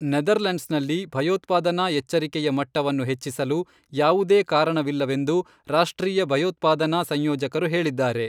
ನೆದರ್ಲೆಂಡ್ಸ್ನಲ್ಲಿ ಭಯೋತ್ಪಾದನಾ ಎಚ್ಚರಿಕೆಯ ಮಟ್ಟವನ್ನು ಹೆಚ್ಚಿಸಲು ಯಾವುದೇ ಕಾರಣವಿಲ್ಲವೆಂದು ರಾಷ್ಟ್ರೀಯ ಭಯೋತ್ಪಾದನಾ ಸಂಯೋಜಕರು ಹೇಳಿದ್ದಾರೆ.